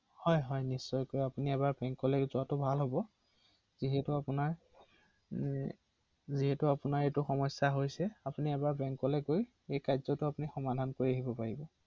হয়